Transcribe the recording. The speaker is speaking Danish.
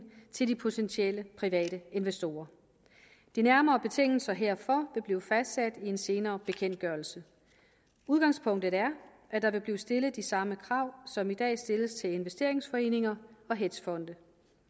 til de potentielle private investorer de nærmere betingelser herfor vil blive fastsat i en senere bekendtgørelse udgangspunktet er at der vil blive stillet de samme krav som i dag stilles til investeringsforeninger og hedgefonde